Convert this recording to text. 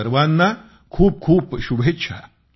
सर्वांना खूप खूप शुभेच्छा